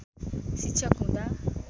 शिक्षक हुँदा